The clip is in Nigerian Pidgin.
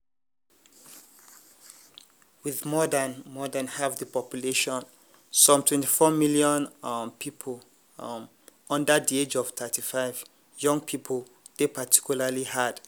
wit more dan more dan half di population - some 24 million um pipo um - under di age of 35 young pipo dey particularly hard-hit.